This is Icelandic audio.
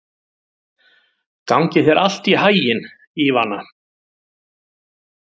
Gangi þér allt í haginn, Ívana.